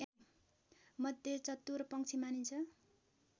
मध्ये चतुर पंक्षी मानिन्छ